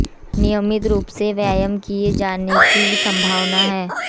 नियमित रुप से व्यायाम किए जाने की संभावना है